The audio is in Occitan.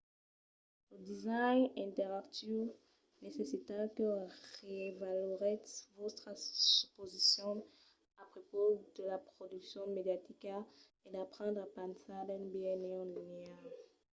lo design interactiu necessita que reavaloretz vòstras suposicions a prepaus de la produccion mediatica e d’aprendre a pensar d’un biais non-linear